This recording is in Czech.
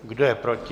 Kdo je proti?